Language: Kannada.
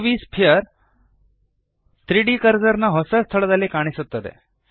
ಯುವಿ ಸ್ಫಿಯರ್ 3ದ್ ಕರ್ಸರ್ ನ ಹೊಸ ಸ್ಥಳದಲ್ಲಿ ಕಾಣಿಸುತ್ತದೆ